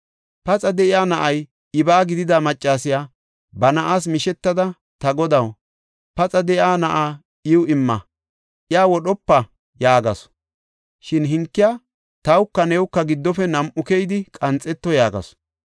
Paxa de7iya na7ay ibaa gidida maccasiya ba na7aas mishetada, “Ta godaw, paxa de7iya na7aa iw imma! iya wodhopa” yaagasu. Shin hankiya, “Tawka newuka gidopo; nam7u keyidi qanxeto” yaagasu.